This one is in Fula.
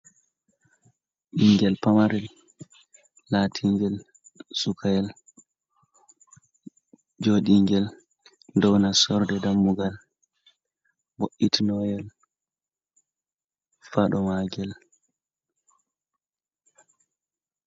Ɓinngel pamarel laatiingel sukayel. Jooɗiingel dow nastorde dammugal, bo'itinooyel faɗo maagel.